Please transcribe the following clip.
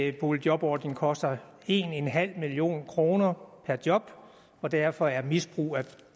at boligjobordningen koster en en halv million kroner per job og derfor er misbrug af